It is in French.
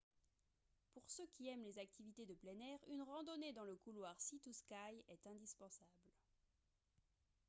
pour ceux qui aiment les activités de plein air une randonnée dans le couloir sea to sky est indispensable